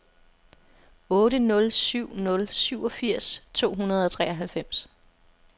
otte nul syv nul syvogfirs to hundrede og treoghalvfems